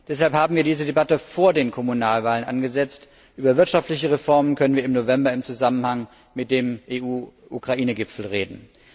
Deshalb haben wir diese Debatte vor den Kommunalwahlen angesetzt. Über wirtschaftliche Reformen können wir im November im Zusammenhang mit dem EU Ukraine Gipfel reden.